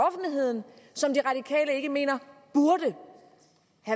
som de radikale ikke mener burde